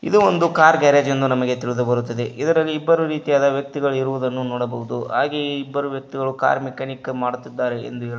ಇದು ಒಂದು car garage ಎಂದು ನಮಗೆ ತಿಳಿದು ಬರುತ್ತದೆ ಇದರಲ್ಲಿ ಇಬ್ಬರು ರೀತಿಯಾದ ವ್ಯಕ್ತಿಗಳನ್ನು ಇರುವುದು ನೋಡಬಹುದು ಹಾಗೆ ಇಬ್ಬರು ವ್ಯಕ್ತಿಗಳು ಕಾರ್ ಮೆಕ್ಯಾನಿಕ್ ಮಾಡುತ್ತಿದ್ದಾರೆ ಎಂದು ಹೇಳಬ --